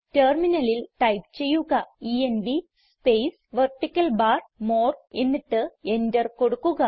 ടെർമിനലിൽ ടൈപ്പ് ചെയ്യുക env space vertical bar more എന്നിട്ട് എന്റർ കൊടുക്കുക